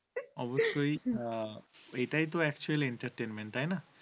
এটাই তো actual entertainment তাই না?